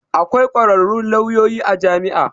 Akwai kwararrun lauyoyi a jami'a.